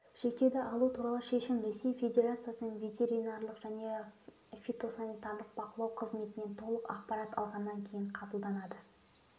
шектеуді алу туралы шешім ресей федерациясының ветеринарлық және фитосанитариялық бақылау қызметінен толық ақпарат алынғаннан кейін қабылданады